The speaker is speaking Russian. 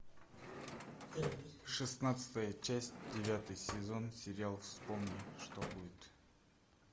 шестнадцатая часть девятый сезон сериал вспомни что будет